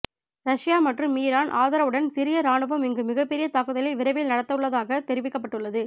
Russia மற்றும் Iran ஆதரவுடன் சிரிய ராணுவம் இங்கு மிக பெரிய தாக்குதலை விரைவில் நடத்தவுள்ளதொக தெரிவிக்கப்பட்டுள்ளது